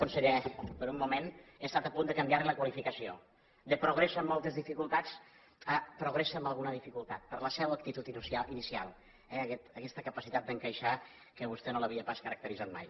conseller per un moment he estat a punt de canviar li la qualificació de progressa amb moltes dificultats a progressa amb alguna dificultat per la seua actitud inicial eh aquesta capacitat d’encaixar que a vostè no l’havia pas caracteritzat mai